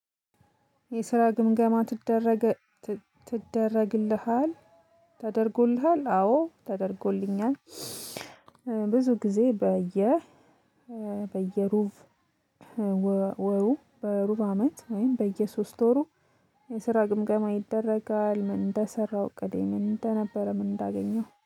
የስራ ግምገማ ትደረግ ትደረግልሃል ተደርጎልሃል? አዎ ተደርጎልኛል። ብዙ ጊዜ በየ በየሩብ ወሩ በሩብ አመት ወይም በየሶስት ወሩ የስራ ግምገማ ይደረጋል። ምን እንደሰራው እቅዴ ምን እንደነበረ ምን እንዳገኘው